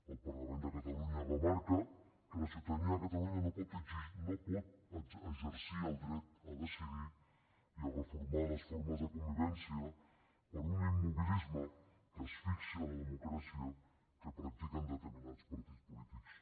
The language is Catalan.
el parlament de catalunya remarca que la ciutadania de catalunya no pot exercir el dret a decidir i a reformar les formes de convivència per un immobilisme que asfixia la democràcia que practiquen determinats partits polítics